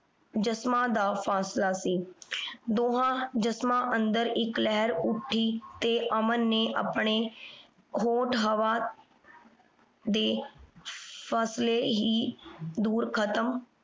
ਜਿਸਮਾਂ ਦਾ ਫਾਸਲਾ ਸੀ। ਦੋਹਾਂ ਜਿਸਮਾਂ ਅੰਦਰ ਇਕ ਲਹਿਰ ਉੱਠੀ ਤੇ ਅਮਨ ਨੇ ਆਪਣੇ ਹੋਠ ਹਵਾ ਦੇ ਫਾਸਲੇ ਹੀ ਦੂਰ ਖਤਮ